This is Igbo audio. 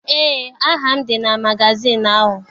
Eé, aha m dị na magazịịnụ ahụ.